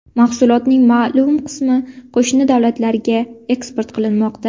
Mahsulotning ma’lum qismi qismi qo‘shni davlatlarga eksport qilinmoqda.